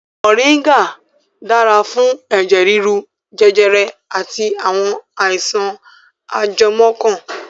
Moringa dára fún ẹ̀jẹ̀ rírú, jẹjẹrẹ àti àwọn àìsàn ajẹmọ́ ọkàn